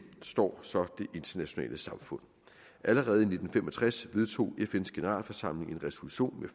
står så det internationale samfund allerede i nitten fem og tres vedtog fns generalforsamling en resolution